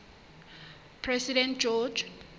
president george